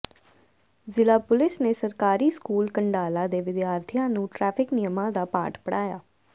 ਜ਼ਿਲ੍ਹਾ ਪੁਲੀਸ ਨੇ ਸਰਕਾਰੀ ਸਕੂਲ ਕੰਡਾਲਾ ਦੇ ਵਿਦਿਆਰਥੀਆਂ ਨੂੰ ਟਰੈਫ਼ਿਕ ਨਿਯਮਾਂ ਦਾ ਪਾਠ ਪੜਾਇਆ